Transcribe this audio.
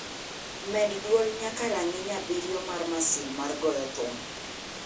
med dwol nyaka rang'iny abiriyo mar masin mar goyo thum